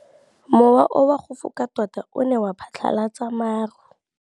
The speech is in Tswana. Mowa o wa go foka tota o ne wa phatlalatsa maru.